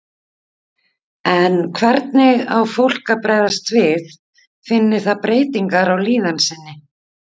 En hvernig á fólk að bregðast við finni það breytingar á líðan sinni?